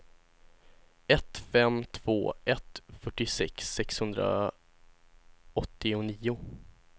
ett fem två ett fyrtiosex sexhundraåttionio